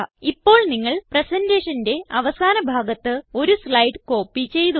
ഇപ്പോൾ നിങ്ങൾ presentationന്റെ അവസാന ഭാഗത്ത് ഒരു സ്ലൈഡ് കോപ്പി ചെയ്തു